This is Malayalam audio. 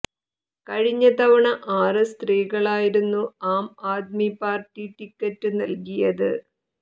കഴിഞ്ഞ തവണ ആറ് സ്ത്രീകളായിരുന്നു ആം ആദ്മി പാർട്ടി ടിക്കറ്റ് നൽകിയത്